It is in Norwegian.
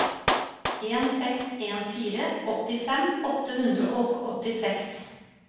en seks en fire åttifem åtte hundre og åttiseks